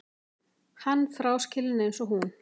Hann fráskilinn eins og hún.